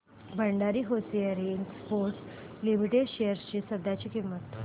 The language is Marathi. Bhandari hosiery exports limited shares ची सध्याची किंमत